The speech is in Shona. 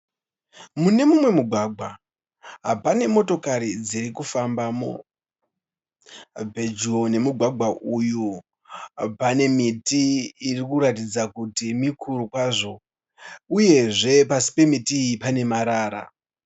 Mune mumwe mugwagwa pane motokari dziri kufambamo. Pedyo nemugwagawa uyu pane miti iri kuratidza kuti mikuru kwazvo uyezve pasi pemiti iyi pane marara.